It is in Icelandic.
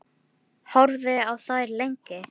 Horfði á þær lengi.